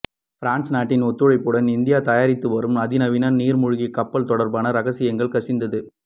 France நாட்டின் ஒத்துழைப்புடன் India தயாரித்துவரும் அதிநவீன நீர்மூழ்கி கப்பல் தொடர்பான ரகசியங்கள் கசிந்தது